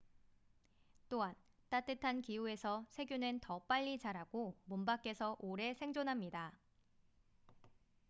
또한 따뜻한 기후에서 세균은 더 빨리 자라고 몸 밖에서 오래 생존합니다